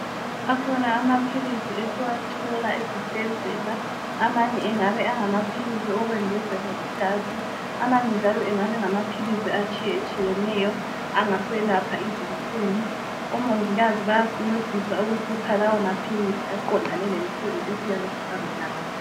Akhona amaphilizi esiwathola ezibhedlela amanye engaba engamaphilizi awokwengeza igazi amanye njalo engaba engamaphilizi atshiyenetshiyeneyo angaselapha izinhlungu. Omongikazi bayasincedisa ukusipha lawomaphilizi aqondane lenhlungu esiyabe sihlangana lazo.